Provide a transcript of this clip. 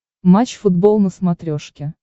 матч футбол на смотрешке